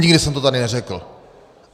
Nikdy jsem to tady neřekl.